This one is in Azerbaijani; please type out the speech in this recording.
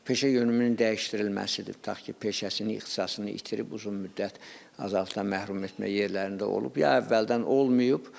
Peşə yönümünün dəyişdirilməsidir, tutaq ki, peşəsinin, ixtisasını itirib uzun müddət azadlıqdan məhrum etmə yerlərində olub, ya əvvəldən olmayıb.